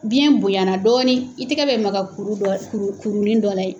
Biyɛn bonyana dɔɔnin i tɛgɛ bɛ maka kuru dɔ kurunin dɔ la yen.